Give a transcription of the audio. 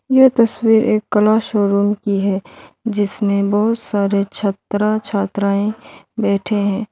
यह तस्वीर एक क्लास रूम की है जिसमें बहुत सारे छात्र छात्राएं बैठे हैं।